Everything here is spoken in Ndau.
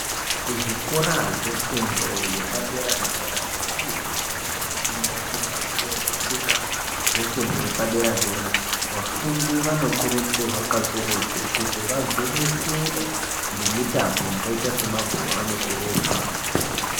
Kuzvikora zvefundo yepadera dera vantu vanenge veifunda kuti vapuwe zvitupa zvefundo yepadera dera vafundi vanokurudzirwa kakurutu kuti vagwinyisire nemitambo yakaita sebhora nekurumba.